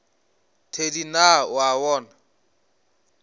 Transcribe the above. thedi na o a bona